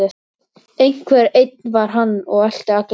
Einhver einn var hann og elti alla hina.